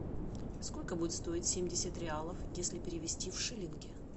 сколько будет стоить семьдесят реалов если перевести в шиллинги